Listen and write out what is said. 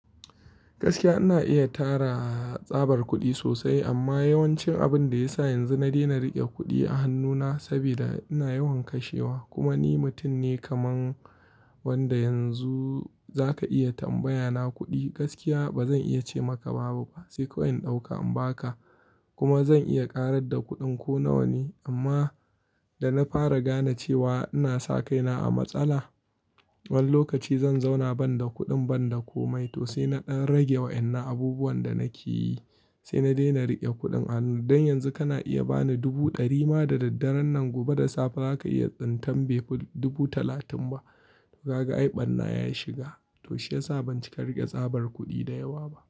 Gaskiya ina iya tara tsabar kuɗi sosai amma yawancin abin da ya sa yanzu na daina riƙe kuɗi a hannuna saboda ina yawan kashewa kuma ni mutum ne kamar wanda yanzu za ka iya tambaya na kuɗi gaskiya ba zan iya ce maka babu ba sai kawai in ɗauka in ba ka kuma zan iya ƙarar da kuɗin ku nawa ne amma da na fara gane cewa ina saka ina a matsala, wani lokaci zan zauna ban da kuɗin ban da ko mai to sai na ɗan rage wa'inna abubuwan da nake yi sai na daina riƙe kuɗin a hannu. Don yanzu kana iya ba ni dubu ɗari ma da daddare nan gobe da safe ba za ka iya tsintar befi dubu talatin ba. Kaga ai ɓarna ya shiga to shi ya sa ban cika riƙe tsabar kuɗi da yawa ba.